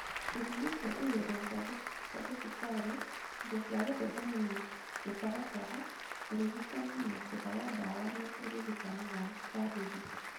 Ithimi cia igerio cia thibitarĩ, indo cia gũthĩnjana na mĩtaratara, ũrigitani na njĩra ya ndawa na ũrigitani wa kwarĩrio